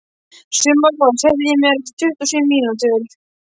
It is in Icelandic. Sumarrós, heyrðu í mér eftir tuttugu og sjö mínútur.